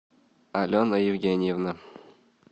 алена евгеньевна